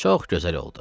Çox gözəl oldu.